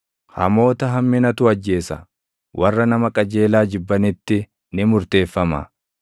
Hamoota hamminatu ajjeesa; warra nama qajeelaa jibbanitti ni murteeffama.